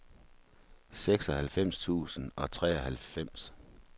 seksoghalvfems tusind og treoghalvfems